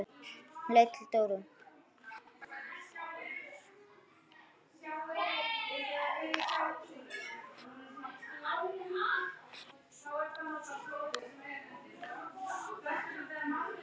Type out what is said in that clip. Hún leit til Dóru.